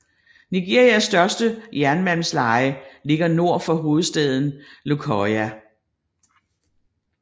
Nigerias største jernmalmsleje ligger nord for hovedstaden Lokoja